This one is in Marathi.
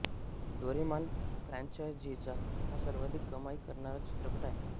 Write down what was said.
डोरेमन फ्रँचायझीचा हा सर्वाधिक कमाई करणारा चित्रपट आहे